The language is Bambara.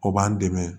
O b'an dɛmɛ